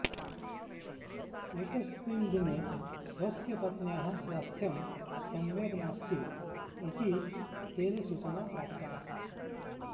एकस्मिन् दिने स्वस्य पत्न्याः स्वास्थ्यं सम्यग्नास्ति इति तेन सूचना प्राप्ता